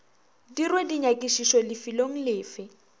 dirwe dinyakišišo lefelong le fe